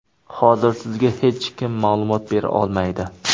Hozir sizga hech kim ma’lumot bera olmaydi.